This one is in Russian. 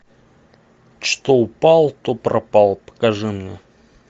что упало то пропало покажи мне